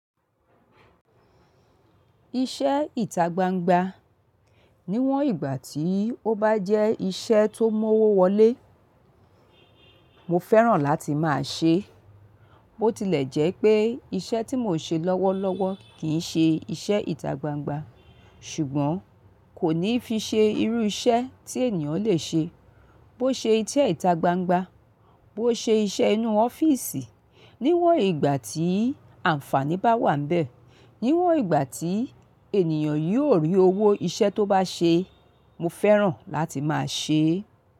Iṣẹ́ ìtagbangba níwọ̀n ìgbà tí ó bá jẹ́ iṣẹ́ tó mọ́wọ́ wọlé, mo fẹ́ràn láti máa ṣe. Bó tilẹ̀ jẹ́ pé iṣẹ́ tí mo ṣe lọ́wọ́lọ́wọ́ kìí ṣe iṣẹ́ ìtagbangba, ṣùgbọ́n kò ní fi ṣe irú iṣẹ́ tí ènìyàn le ṣe. Bó ṣe iṣẹ́ ìtagbangba, bó ṣe iṣẹ́ inú ọ́fíìsì, níwọ̀n ìgbà tí àǹfàní bá wà níbẹ̀, níwọ̀n ìgbà tí ènìyàn yóò rí owó iṣẹ́ tó bá ṣe, mo fẹ́ràn láti máa ṣe é.